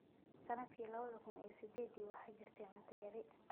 “Sannadkii laba kuun iyo sidedii, waxa jirtay cunto yari.